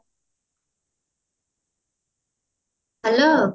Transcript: hello